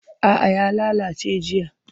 A'a ya lalace jiya.